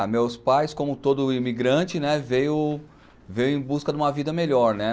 Ah, meus pais, como todo imigrante, né, veio veio em busca de uma vida melhor, né?